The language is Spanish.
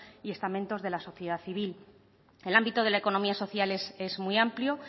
y estamentos de la sociedad civil el ámbito de la economía social es muy amplio